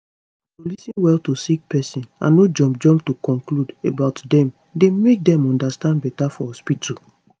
to lis ten well to sick pesin and no jump jump to conclude about dem dey make dem understand beta for hospitu